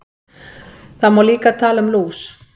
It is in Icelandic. Það má líka tala um lús.